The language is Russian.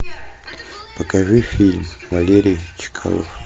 покажи фильм валерий чкалов